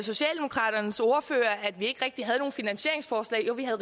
findes ordfører at vi ikke rigtig havde nogen finansieringsforslag jo vi har